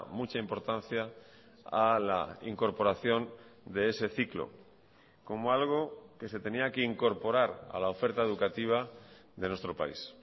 mucha importancia a la incorporación de ese ciclo como algo que se tenía que incorporar a la oferta educativa de nuestro país